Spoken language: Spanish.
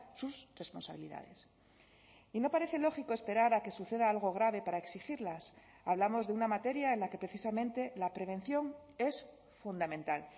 sus responsabilidades y no parece lógico esperar a que suceda algo grave para exigirlas hablamos de una materia en la que precisamente la prevención es fundamental